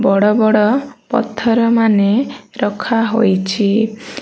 ବଡ଼ ବଡ଼ ପଥର ମାନେ ରଖା ହୋଇଛି।